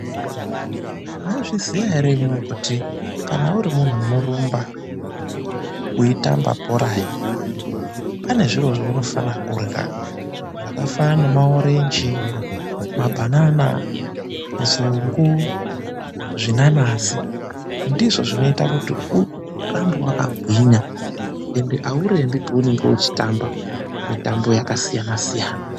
Mwaizviziya ere imwimwi, kuti kana uri munthu unoramba, weitamba bhora he. Pane zviro zveunonafa kurya. Zvakafanana nemaorenji, mabanana, nzungu, zvinanazi, ndizvo zvinoita kuti urambe wakagwinya ende aurembi peunenge uchitamba, mitambo yakasiyana-siyana.